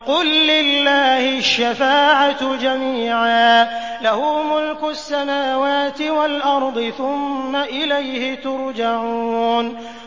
قُل لِّلَّهِ الشَّفَاعَةُ جَمِيعًا ۖ لَّهُ مُلْكُ السَّمَاوَاتِ وَالْأَرْضِ ۖ ثُمَّ إِلَيْهِ تُرْجَعُونَ